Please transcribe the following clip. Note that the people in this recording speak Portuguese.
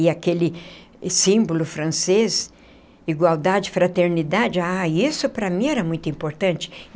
E aquele símbolo francês, igualdade, fraternidade, ah isso para mim era muito importante.